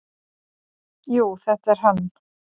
"""Jú, þetta er hann."""